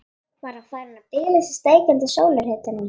Var hann farinn að bilast í steikjandi sólarhitanum?